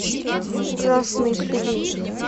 красный сулин